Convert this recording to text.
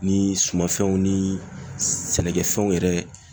Ni sumanfɛnw ni sɛnɛkɛfɛnw yɛrɛ